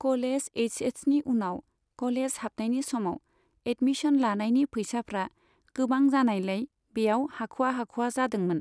College एइस एसनि उनाव कलेज हाबनायनि समाव एडमिशन लानायनि फैसाफ्रा गोबां जानायलाय बेयाव हाखवा हाखवा जादोंमोन।